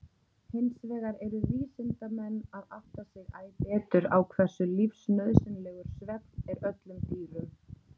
Hinsvegar eru vísindamenn að átta sig æ betur á hversu lífsnauðsynlegur svefn er öllum dýrum.